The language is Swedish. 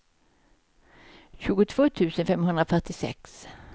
tjugotvå tusen femhundrafyrtiosex